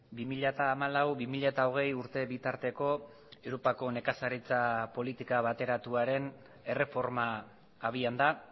bi mila hamalau bi mila hogei urte bitarteko europako nekazaritza politika bateratuaren erreforma abian da